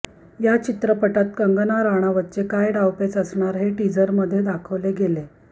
या चित्रपटात कंगना राणावतचे काय डावपेच असणार हे टिझरमध्ये दाखवले गेले